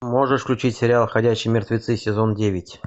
можешь включить сериал ходячие мертвецы сезон девять